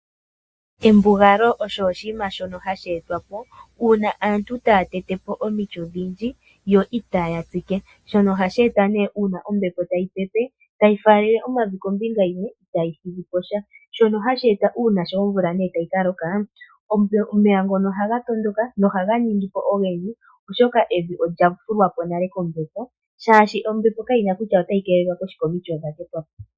Embugalalo osho oshinima shono hashi etwapo uuna aantu taya tetepo omiti odhindji yo itaya tsike shono ohashi etwa uuna ombepo tayi pepe tayi faalele omavi kombinga yimwe itayi thigiposha shono hashi eta uuna omvula tayi Kaloka omeya ngono ohaga matuka nohaga ningipo ogendji, oshoka evi olya fulwapo nale kombepo shaashi ombepo kayina kutya otayi keelelwa koshike omiti odha tetwapo.